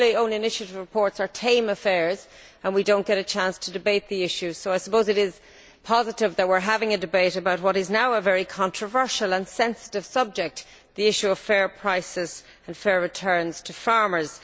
Normally, own initiative reports are tame affairs and we do not get a chance to debate the issues, so I suppose it is positive that we are having a debate about what is now a very controversial and sensitive subject the issue of fair prices and fair returns to farmers.